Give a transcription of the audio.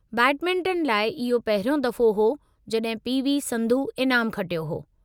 Badminton लाइ इहो पहिरियों दफ़ो हो जड॒हिं पी.वी.संधू इनामु खटियो हो।